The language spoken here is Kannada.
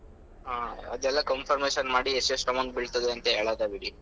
ಹಾ ಅದೆಲ್ಲ confirmation ಮಾಡಿ ಎಷ್ಟ್ ಎಷ್ಟ್ amount ಬೀಳ್ತದೆ ಅಂತ ಹೇಳೋದೆ ಬಿಡಿ.